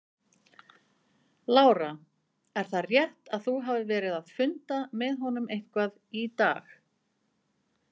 Lára: Er það rétt að þú hafir verið að funda með honum eitthvað í dag?